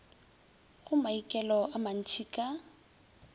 go maikelo a mantšhi ka